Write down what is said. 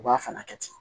U b'a fana kɛ ten